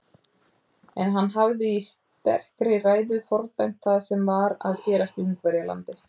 En hann hafði í sterkri ræðu fordæmt það sem var að gerast í Ungverjalandi.